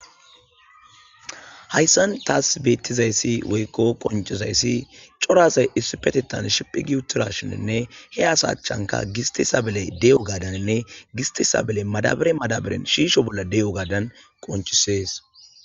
Hayssan taas beettizayssi woykko qoncizayssi corasay issi petetan shiphigi utira shininne he asa achchanka gisti sabeley de'o gaadaninne gisti sabeley madabare madabaren shiisho bolla de'o gaadan qoncisees.